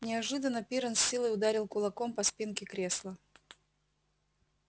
неожиданно пиренн с силой ударил кулаком по спинке кресла